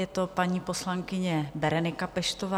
Je to paní poslankyně Berenika Peštová.